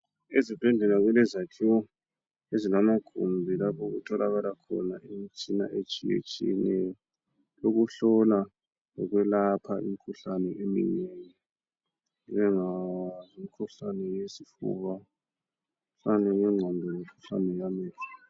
Ezibhedlela kulezakhiwo ezilamagumbi lapho okutholakala khona imitshina etshiyetshiyeneyo yokuhlola lokwelapha imkhuhlane eminengi njengemikhuhlane yesifuba, imkhuhlane yengqondo lemkhuhlane yamehlo.